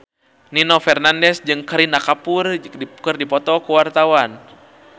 Nino Fernandez jeung Kareena Kapoor keur dipoto ku wartawan